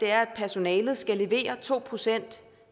er at personalet skal levere to procent